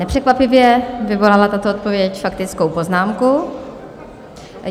Nepřekvapivě vyvolala tato odpověď faktickou poznámku.